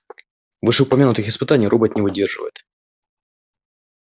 вышеупомянутых испытаний робот не выдерживает